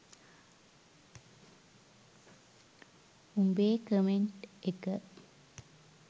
උඹේ කමෙන්ට් එක